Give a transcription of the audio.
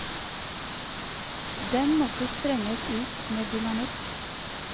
Den måtte sprenges ut med dynamitt.